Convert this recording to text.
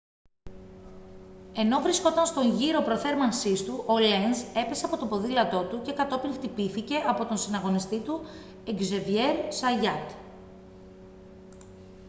ενώ βρισκόταν στον γύρο προθέρμανσής του ο λένζ έπεσε από το ποδήλατό του και κατόπιν χτυπήθηκε από τον συναγωνιστή του εκζέβιερ ζαγιάτ